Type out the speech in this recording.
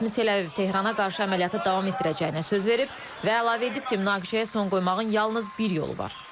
Rəsmi Təl-Əviv Tehrana qarşı əməliyyatı davam etdirəcəyinə söz verib və əlavə edib ki, münaqişəyə son qoymağın yalnız bir yolu var.